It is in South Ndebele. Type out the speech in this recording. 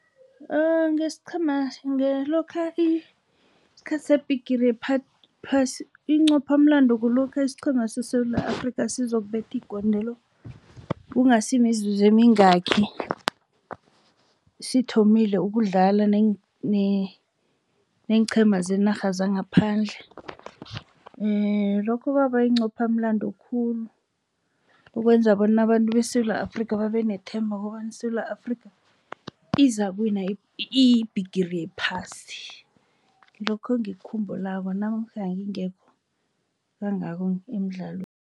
Ngesiqhema ngelokha isikhathi seBhirigi yePhasi inqophamlando kulokha isiqhema seSewula Afrika sizokubetha igondelo kungasimizuzu mingaki sithomile ukudlala neenqhema zenarha zangaphandle. Lokho kwaba inqophamlando khulu ukwenza bona nabantu beSewula Afrika babe nethemba kobana iSewula Afrika izakuwina iBhigiri yePhasi ngilokho engikukhumbulako namkha ngingekho kangako emidlalweni.